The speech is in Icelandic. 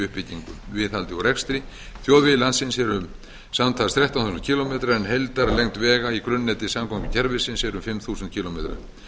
uppbyggingu viðhaldi og rekstri þjóðvegir landsins eru samtals um þrettán þúsund kílómetrar en heildarlengd vega í grunnneti samgöngukerfisins er um fimm þúsund kílómetrar